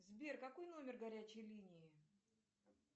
сбер какой номер горячей линии